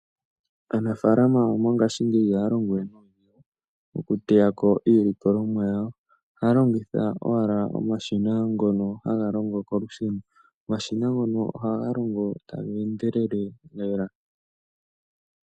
Aanafaalama mongashingeyi iha ya longo we nuudhigu oku teya ko iililkolomwa yawo, ohaa longitha owala omashina ngono haga longo kolusheno. Omashina ngono oha ga longo taga endelele lela .